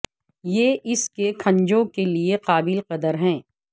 یہ اس کے کھنجوں کے لئے قابل قدر ہے